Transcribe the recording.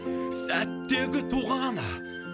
сәттегі туған